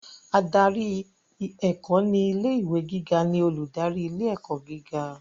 Adarí ẹ̀kọ́ ni ilé ìwé gíga ni olùdarí ilé ẹ̀kọ́ gíga.